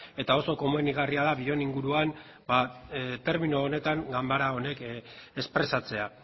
eta oso komenigarria da bion inguruan ba termino honetan ganbara honek espresatzea